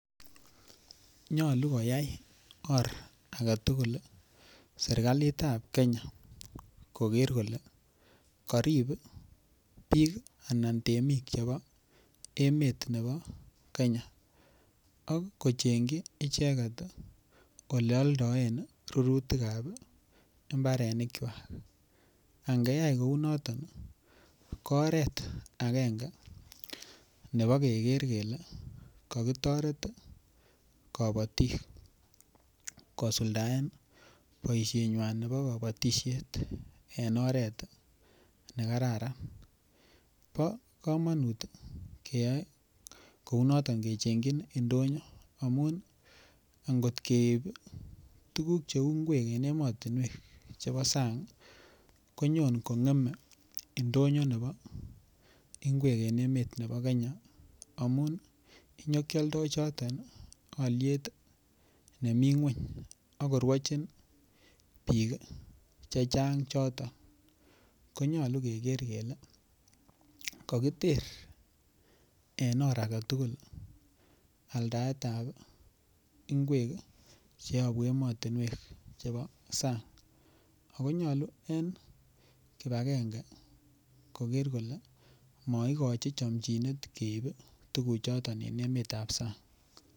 Nyolu koyai or aketugul sirkalitab Kenya koker kole korib bik anan temik chebo emet nebo Kenya ak kochengji icheket eleoldieb rurutikab imbarenikwak, angeyai kounoton kooret agenge nebo keker kele kokitoret kobotik kosuldaen boishenywan nebo kobotishet en oret nekararan bokomonut ii keyoe kounoton kechengjin indonyo amun angot keib tukuk cheu inkwek en emotinwek chebo sang konyon kongeme ingonyor nebo inkwek en emet nebo Kenya amun inyokioldo choton oliet nemi ngweny ak koruojin bik chechang choton, konyolu keker kele kokiter en or aketugul altaedab inkwek cheobu emotinwek chebo sang akonyolu en kipagenge, koker kole moikoji chomjinet keib tuguchoton en emetab sang.